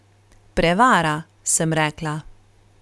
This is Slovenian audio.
Prevara, sem rekla.